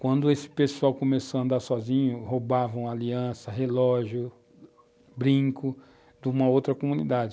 Quando esse pessoal começou a andar sozinho, roubavam aliança, relógio, brinco de uma outra comunidade.